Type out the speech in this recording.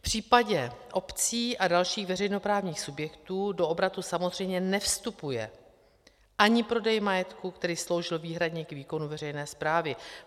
V případě obcí a dalších veřejnoprávních subjektů do obratu samozřejmě nevstupuje ani prodej majetku, který sloužil výhradně k výkonu veřejné správy.